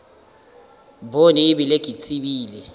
bone e bile ke tsebile